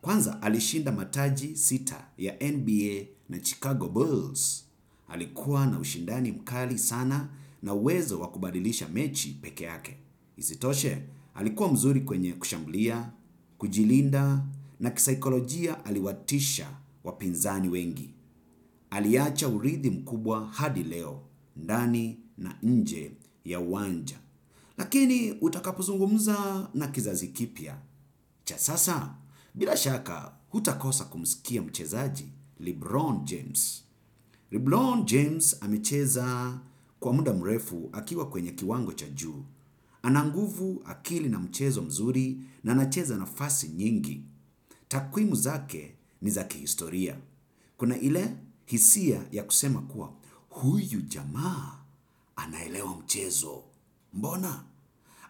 Kwanza alishinda mataji sita ya NBA na Chicago Bulls. Alikuwa na ushindani mkubwa sana na uwezo wa kubasilisha mechi pekee yake. Isitoshe, alikuwa mzuri kwenye kushambulia, kujilinda na kisikolojia aliwatisha wapinzani wengi. Aliacha uridhi mkubwa hadi leo ndani na nje ya uwanja. Lakini, utakapozungumza na kizazi kipya. Cha sasa, bila shaka, hutakosa kumsikia mchezaji, Lebron James. Leblon James amecheza kwa muda mrefu akiwa kwenye kiwango cha juu. Ana nguvu akili na mchezo mzuri na anacheza nafasi nyingi. Takwimu zake ni za kihistoria. Kuna ile hisia ya kusema kuwa huyu jamaa anaelewa mchezo. Mbona?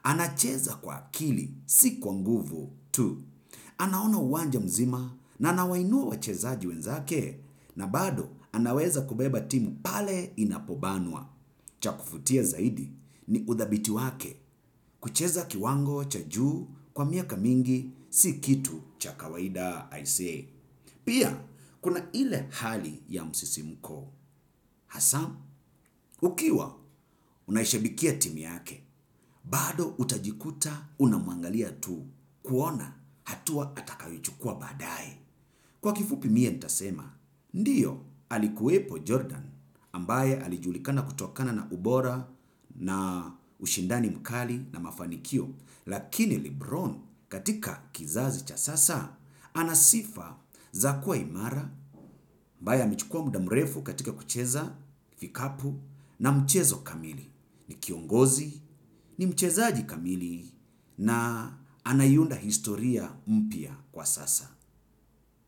Anacheza kwa akili si kwa nguvu tu. Anaona uwanja mzima na anawainua wachezaji wenzake na bado anaweza kubeba timu pale inapobanwa. Cha kuvutia zaidi ni udhabiti wake kucheza kiwango cha juu kwa miaka mingi si kitu cha kawaida I say. Pia, kuna ile hali ya msisimko, hasaa. Ukiwa, unaishabikia timu yake. Bado, utajikuta, unamuangalia tu kuona hatua atakayoichukua baadaye. Kwa kifupi miye nitasema, ndiyo alikuwepo Jordan ambaye alijulikana kutokana na ubora na ushindani mkali na mafanikio, lakini Lebron katika kizazi cha sasa, anasifa za kuwa imara, amaaye amechukua muda mrefu katika kucheza vikapu na mchezo kamili ni kiongozi ni mchezaji kamili na anaiunda historia mpya kwa sasa.